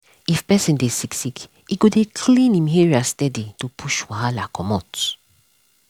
if person dey sick sick e go dey clean him area steady to push wahala comot.